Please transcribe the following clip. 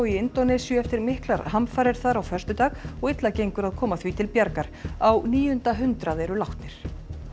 í Indónesíu eftir miklar hamfarir þar á föstudag og illa gengur að koma því til bjargar á níunda hundrað eru látnir